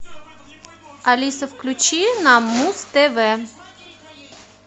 алиса включи нам муз тв